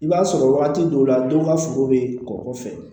I b'a sɔrɔ wagati dɔw la dɔw ka sogo be kɔkɔ fɛ